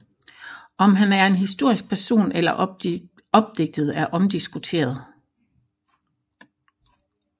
Om han er en historisk person eller opdigtet er omdiskuteret